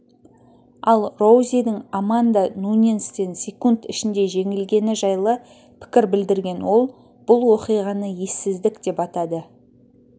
ал роузидің аманда нуньестен секунд ішінде жеңілгені жайлы пікір білдірген ол бұл оқиғаны ессіздік деп атады